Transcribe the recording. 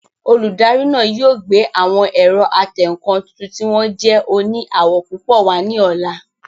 Olùdarí náà yóò gbé àwọn ẹ̀rọ atẹǹkan tuntun tí wọ́n jẹ́ òní àwọ̀ púpọ̀ wá ní ọ̀la